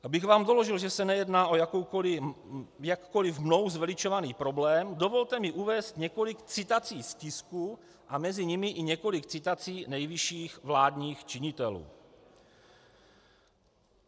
Abych vám doložil, že se nejedná o jakkoliv mnou zveličovaný problém, dovolte mi uvést několik citací z tisku a mezi nimi i několik citací nejvyšších vládních činitelů.